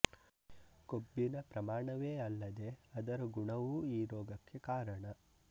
ಕೊಬ್ಬಿನ ಪ್ರಮಾಣವೇ ಅಲ್ಲದೆ ಅದರ ಗುಣವೂ ಈ ರೋಗಕ್ಕೆ ಕಾರಣ